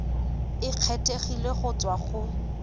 e kgethegileng go tswa go